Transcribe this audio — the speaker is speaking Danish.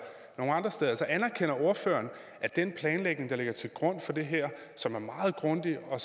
andre steder altså anerkender ordføreren at den planlægning der ligger til grund for det her som er meget grundig og